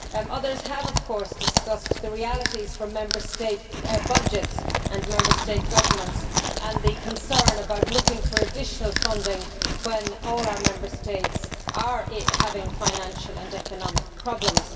Others have, of course, discussed the realities for Member State budgets and Member State governments as well as the concern about looking for additional funding when all our Member States are having financial and economic problems.